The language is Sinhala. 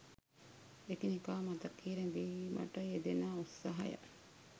එකිනෙකා මතකයේ රැඳීමට යෙදෙන උත්සාහය